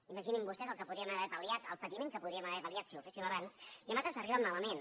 imaginin se vostès el que podríem haver pal·liat el patiment que podríem haver pal·liat si ho haguéssim fet abans i en altres arriben malament